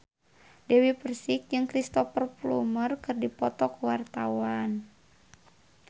Dewi Persik jeung Cristhoper Plumer keur dipoto ku wartawan